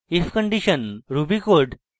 if condition ruby code